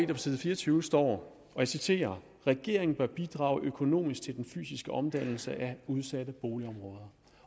på side fire og tyve står og jeg citerer regeringen bør bidrage økonomisk til den fysiske omdannelse af udsatte boligområder